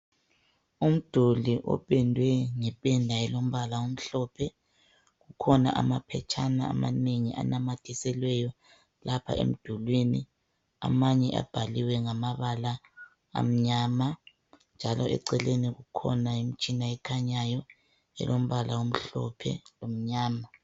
Amduli opendwe ngeqeda elombala omhlophe kukhona amaphetshana amanye anamathiselweyo lapha emdulwin amanye abhaliwe ngamabala amnyama njalo eceleni kukhona imtshina ekhanyayo elombala omhlophe lomnyama